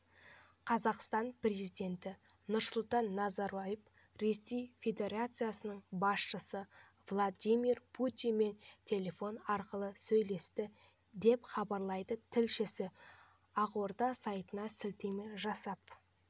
қазақстан президенті нұрсұлтан назарбаев ресей федерациясының басшысы владимир путинмен телефон арқылы сөйлесті деп хабарлайды тілшісі ақорда сайтына сілтеме жасап